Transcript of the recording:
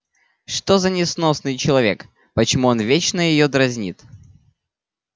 что за несносный человек почему он вечно её дразнит